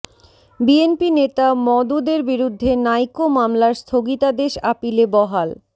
BNP নেতা মওদুদের বিরুদ্ধে নাইকো মামলার স্থগিতাদেশ আপিলে বহাল